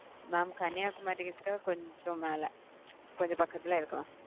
mam Kanyakumari கிட்ட கொஞ்சம் மேல கொஞ்சம் பக்கத்துல இருக்கும்.